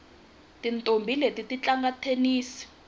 tintombhi leti ti tlanga thenisi